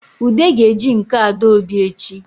Ude ga-eji nke Adaobi echi